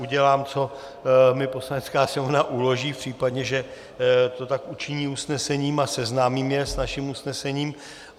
Udělám, co mi Poslanecká sněmovna uloží, v případě, že to tak učiní usnesením, a seznámím je s naším usnesením.